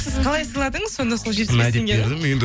сіз қалай сыйладыңыз сонда сол жетпіс бес теңгені